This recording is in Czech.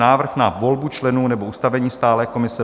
Návrh na volbu členů nebo ustavení stálé komise